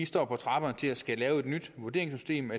står på trapperne til at skulle lave et nyt vurderingssystem